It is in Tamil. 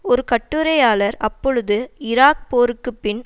ஒரு கட்டுரையாளர் அப்பொழுது ஈராக் போருக்கு பின்